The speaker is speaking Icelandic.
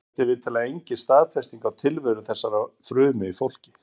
En þetta er vitanlega engin staðfesting á tilveru þessara fruma í fólki.